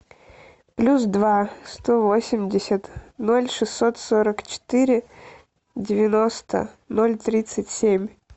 плюс два сто восемьдесят ноль шестьсот сорок четыре девяносто ноль тридцать семь